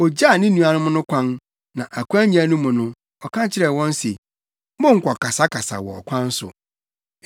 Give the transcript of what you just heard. Ogyaa ne nuanom no kwan, na akwannya no mu no, ɔka kyerɛɛ wɔn se, “Monnkɔkasakasa wɔ ɔkwan so.”